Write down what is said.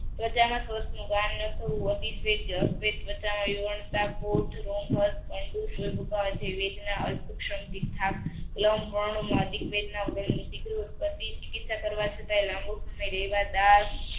પ્રજા ના વેદના અધિક વેદના ઉત્પતિ